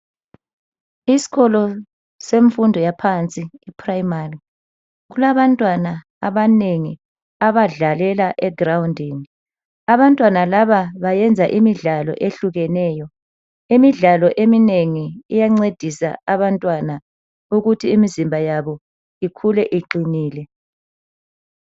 Isikolo semfundo yaphansi iprimary ,kulabantwana abanengi abadlalela egroundini. Abantwana laba bayenza imidlalo ehlukeneyo .Imidlalo eminengi iyancedisa abantwana ukuthi imzimba yabo ikhule iqinile.